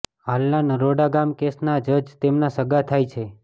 હાલના નરોડા ગામ કેસના જજ તેમના સગાં થાય છે